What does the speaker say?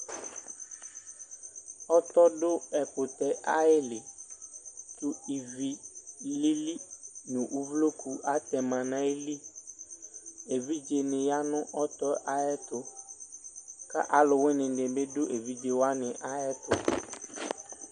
Ɔtɔ dʋ ɛkʋtɛ ayili kʋbivi lili nʋ uvloku atɛma nʋ ayili evidze ni yanʋ ayʋ ɛtʋ kʋ alʋwini ni bidʋ evidze wani ayʋ ɛtʋ